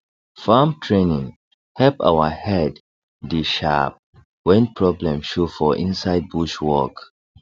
farm training help our head dey sharp when problem show for inside bush work